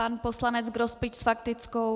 Pan poslanec Grospič s faktickou.